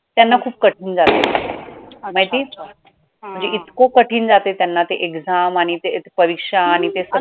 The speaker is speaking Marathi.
त्यांना खूप कठीण जातंय माहितीये म्हणजे इतकं कठीण जातंय त्यांना ते exam आणि ते परीक्षा आणि ते सगळं